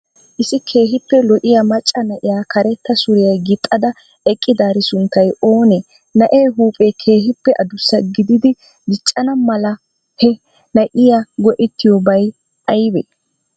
Issi keehippe lo'iya macaa naa'iya kareeta suriya gixxada eqqidari sunttay oone? naa'e huphe keehippe addussa giddidi diccanaa malaa he naa'iya go'ettidobay aybee?